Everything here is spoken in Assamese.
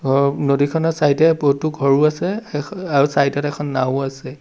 অ নদীখনৰ চাইড এ বহুতো ঘৰো আছে অ আৰু চাইড ত এখন নাওঁও আছে।